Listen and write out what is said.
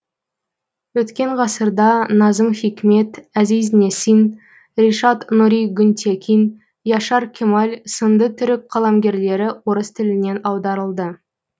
өткен ғасырда назым хикмет әзиз несин решат нұри гүнтекин яшар кемал сынды түрік қаламгерлері орыс тілінен аударылды